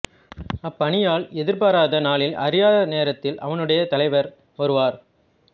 அப்பணியாள் எதிர்பாராத நாளில் அறியாத நேரத்தில் அவனுடைய தலைவர் வருவார்